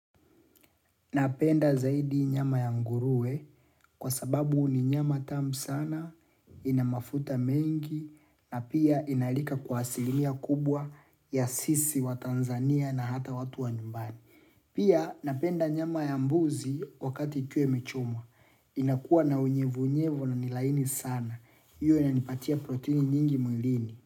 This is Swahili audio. Napenda zaidi nyama ya nguruwe kwa sababu ni nyama tamu sana, ina mafuta mengi na pia inalika kwa asilimia kubwa ya sisi watanzania na hata watu wa nyumbani. Pia napenda nyama ya mbuzi wakati ikiwa imechomwa. Inakuwa na unyevuunyevu na ni laini sana. Hiyo yanipatia proteini nyingi mwilini.